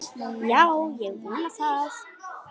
Já, ég vona það.